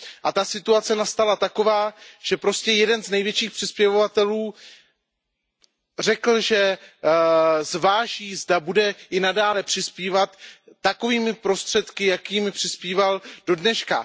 A ta situace nastala taková, že prostě jeden z největších přispěvovatelů řekl, že zváží, zda bude i nadále přispívat takovými prostředky, jakými přispíval dodneška.